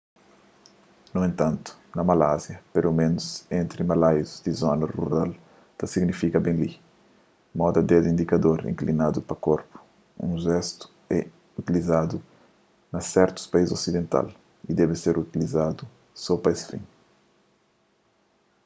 nu entantu na malásia peloménus entri malaius di zonas rural ta signifika ben li moda dedu indikador inklinadu pa korpu un jestu ki é utilizadu na sertus país osidental y debe ser uzadu so pa es fin